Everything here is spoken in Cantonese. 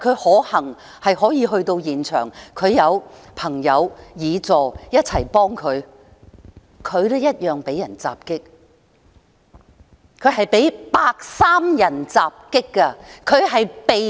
可幸的是他可以到達現場，他有朋友和議員助理的幫忙，但他一樣被人襲擊——他是被白衣人襲擊的。